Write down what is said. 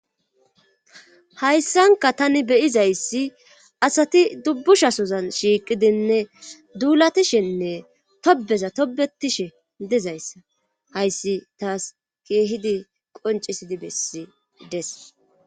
hayssanka tani beyizayssi asati dubbushasozan shiiqidinne duulatishenne tobeza tobetishe dezayssa hayssi taas keehidi qoncisidi bessides